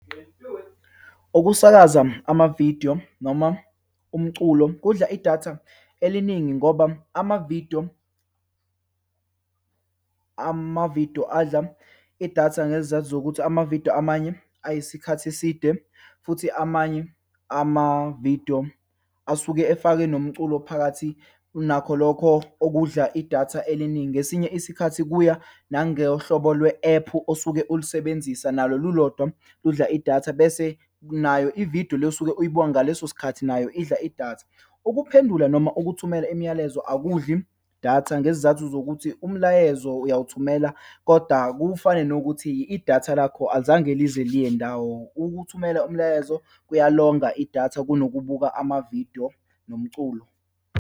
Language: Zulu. Ukusakaza amavidiyo noma umculo kudla idatha eliningi, ngoba amavidiyo, amavidiyo adla idatha ngezizathu zokuthi amavidiyo amanye ayisikhathi eside futhi amanye amavidiyo asuke efake nomculo phakathi, nakho lokho okudla idatha eliningi. Ngesinye isikhathi kuya nangehlobo lwe ephu osuke ulisebenzisa, nalo lulodwa ludla idatha. Bese nayo ividiyo le osuke uyibuka ngaleso sikhathi, nayo idla idatha. Ukuphendula noma lo ukuthumela imiyalezo, akudli idatha ngezizathu zokuthi umlayezo uwawuthumela kodwa, kufane nokuthi idatha lakho alizange lize liye ndawo. Ukuthumela umlayezo kuyalonga idatha, kunokubuka amavidiyo nomculo.